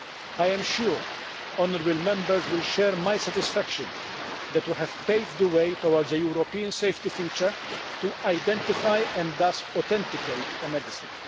I am sure Members will share my satisfaction that we have paved the way towards a European safety feature to identify and thus authenticate a medicine.